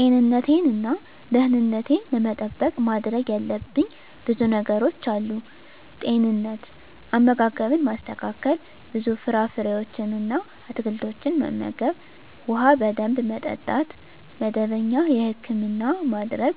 ጤንነቴን እና ደህንነቴን ለመጠበቅ ማድረግ ያለብኝ ብዙ ነገሮች አሉ፦ * ጤንነት፦ * አመጋገብን ማስተካከል፣ ብዙ ፍራፍሬዎችን እና አትክልቶችን መመገብ፣ ውሃ በደንብ መጠጣት፣ መደበኛ የህክምና ማድረግ፣